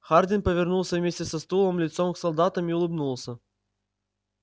хардин повернулся вместе со стулом лицом к солдатам и улыбнулся